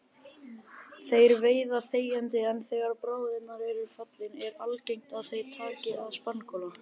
Þeir veiða þegjandi en þegar bráðin er fallin er algengt að þeir taki að spangóla.